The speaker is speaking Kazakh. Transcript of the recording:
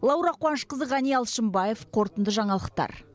лаура қуанышқызы ғани алшымбаев қорытынды жаңалықтар